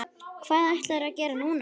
Hvað ætlarðu að gera núna?